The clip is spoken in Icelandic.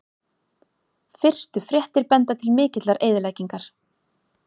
Fyrstu fréttir benda til mikillar eyðileggingar